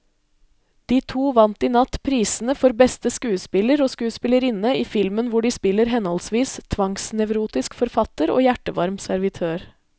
De to vant i natt prisene for beste skuespiller og skuespillerinne i filmen hvor de spiller henholdsvis tvangsnevrotisk forfatter og hjertevarm servitør.